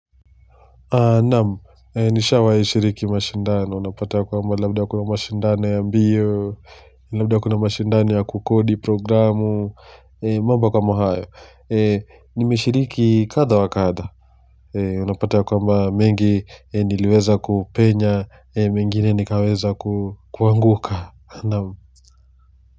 Namu, nishawahi shiriki mashindani, unapata kwamba labda kuna mashindani ya mbio Labda kuna mashindani ya kukodi, programu, mambo kama hayo Nimeshiriki kadha wa kadha Unapata ya kwamba mengi niliweza kupenya, mengine nikaweza kuanguka Namu.